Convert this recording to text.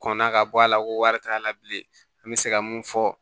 Kɔnna ka bɔ a la ko wari t'a la bilen an bɛ se ka mun fɔ